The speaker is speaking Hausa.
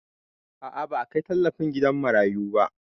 A'a, ba a kai tallafi gidan marayu ba